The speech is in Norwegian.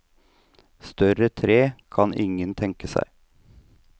Større tre kan ingen tenke seg.